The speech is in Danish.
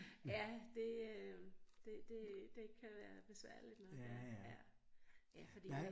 Ja det øh det det det kan være besværligt når det ja ja fordi